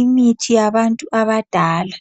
imithi yabantu abadala.